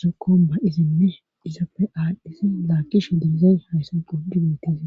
zokomba izinne isapfe aadhdhisi laakishe diizay hayssan qudidettisio.